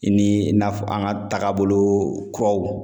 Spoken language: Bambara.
I ni i n'a fɔ an ka taabolo kuraw.